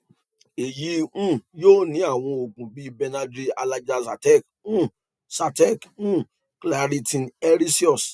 èyí um yóò ní àwọn òògùn bíi benadryl allegra zyrtec um zyrtec um claritin aerius